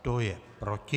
Kdo je proti?